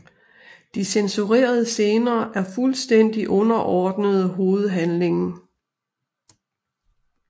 De censurerede scener er fuldstændigt underordnede hovedhandlingen